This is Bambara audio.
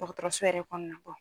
Dɔgɔtɔrɔso yɛrɛ kɔnɔna bɔn